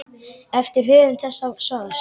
eftir höfund þessa svars.